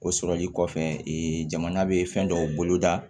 O sɔrɔli kɔfɛ jamana bɛ fɛn dɔw boloda